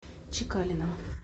чекалиным